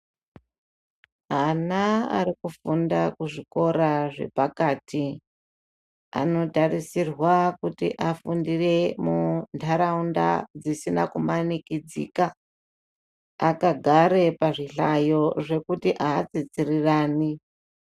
Ana ari kufunda kuzvikora zvepakati anotarisirwa kuti afundire muntaraunda dzisina kumanikidzika akagara pazvihlayo zvekuti atsitsirani .